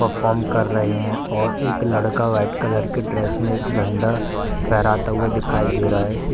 Perform कर रहे है और एक लड़का वाइट कलर की ड्रेस में एक झंडा फहराता हुआ दिखाई दे रहा है।